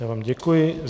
Já vám děkuji.